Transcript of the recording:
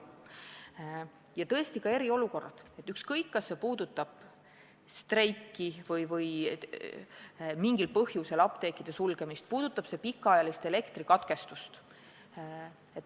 Ja võivad tekkida ka eriolukorrad – puudutab see streiki või mingil muul põhjusel apteekide sulgemist, näiteks pikaajalist elektrikatkestust.